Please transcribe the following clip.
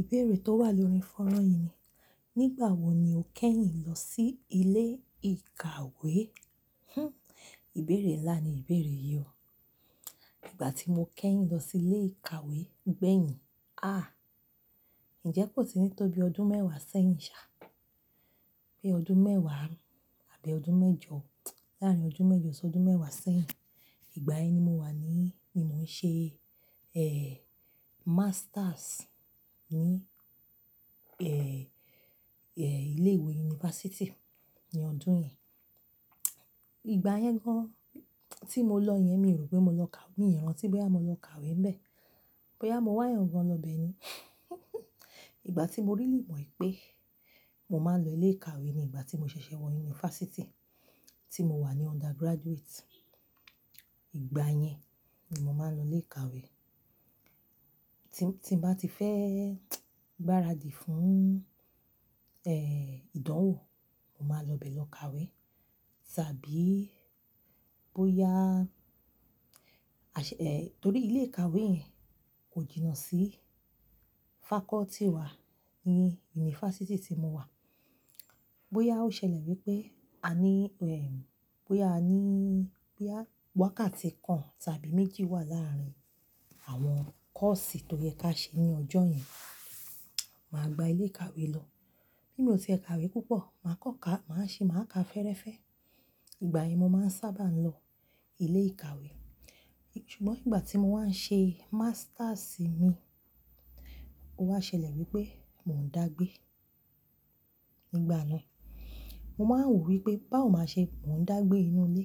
Ìbéèrè tó wà lórí fonran yìí ni, nígbà wo ni o kẹ́yìn lọ sí ilé ìkàwé? Hmm, ìbéèrè ńlá ni ìbéèrè yìí o. Nígbà tí mo kẹ́yìn lọ sí ilé ìkàwé gbẹ̀yìn, ah! Ǹjẹ́ kò tì ní tó bí ọdún mẹ́wàá sẹ́yìn ṣá, pé ọdún mẹ́wàá àbí ọdún mẹ́jọ, láàrín ọdún mẹ́jọ sí ọdún mẹ́wàá sẹ́yìn. Ìgbà yen ni mo wà ní, mo ń ṣe, eh, masters ní, eh, eh, ilé ìwé yunifásítì ní ọdún yẹn. Ìgbà yẹn gan-an tí mo lọ yẹn, mi ò rò pé mo lọ kà-- mi ò rántí boya mo lọ kàwé ńbẹ. Boya mo wá eeyan gan lọ ibẹ ni. Ìgbà tí mo really mo pé mo máa ń lọ ilé ìkàwé ni ìgbà tí mo ṣẹ̀ṣẹ̀ wọ yunifásítì tí mo wà ní undergraduate. Ìgbà yẹn ni mo máa ń lọ ilé ìkàwé. Tí, tí n bá ti fẹ́ gbáradì fún, eh, ìdánwò, mo máa n lọ bẹ lọ kàwé. Tàbí bóyá, àṣ-- eh, torí ilé ìkàwé yẹn kò jìnnà sí faculty wa ní yunifásítì tí mo wà. Boyá ó ṣẹlẹ̀ wípé a ní, ehm, boya a ní, boya wakáàti kan tàbí méjì wà láàrín àwọn kọ́ọ̀sì toyẹ ká ṣe ní ọjọ́ yẹn, màá gba ilé ìkàwé lọ. Bí mi o ti e kàwé púpọ̀, màá kan ká, màá ṣi, màá ka fẹ́ẹ́rẹ́fẹ́. Ìgbà yẹn mo máa ń sábà ń lọ ilé ìkàwé. Ṣùgbọ́n ìgbà tí mo wá ń ṣe masters mi, ó wá ṣẹlẹ̀ wípé mò ń dàgbé. Nígbà náà, mo máa ń wò wípé báwo màá ṣe mò ń dàgbé inú ilé,